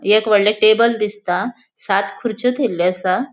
एक वडले टेबल दिसता सात खुर्रच्यो थेयल्ले असा.